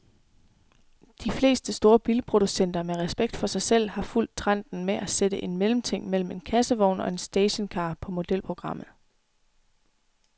De fleste store bilproducenter med respekt for sig selv har fulgt trenden med at sætte en mellemting mellem en kassevogn og en stationcar på modelprogrammet.